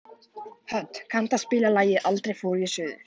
Hödd, kanntu að spila lagið „Aldrei fór ég suður“?